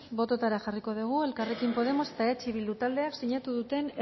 bototara jarriko dugu elkarrekin podemos eta eh bildu taldeak zinatu duten